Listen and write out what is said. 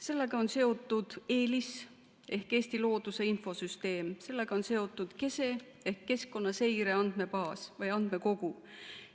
Sellega on seotud EELIS ehk Eesti looduse infosüsteem, sellega on seotud KESE ehk keskkonnaseire andmebaas või andmekogu.